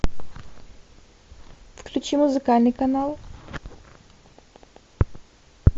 включи музыкальный канал